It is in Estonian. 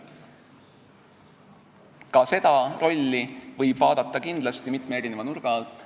Ka seda rolli võib kindlasti vaadata mitme nurga alt.